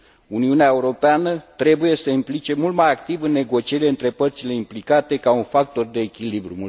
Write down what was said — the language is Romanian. Uniunea Europeană trebuie să se implice mult mai activ în negocierile dintre părțile implicate ca un factor de echilibru.